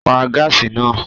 Pa gaasi naa!